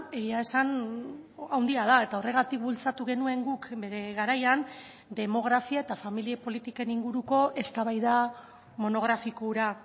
egia esan handia da eta horregatik bultzatu genuen guk bere garaian demografia eta familia politiken inguruko eztabaida monografiko hura